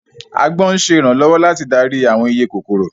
Agbọ́n ń ṣe ìrànlọ́wọ́ láti darí àwọn iye kòkòrò